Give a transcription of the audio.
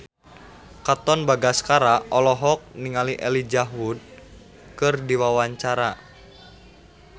Katon Bagaskara olohok ningali Elijah Wood keur diwawancara